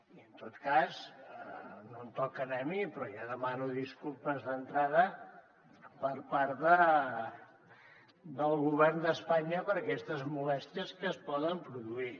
i en tot cas no em toca a mi però ja demano disculpes d’entrada per part del govern d’espanya per aquestes molèsties que es poden produir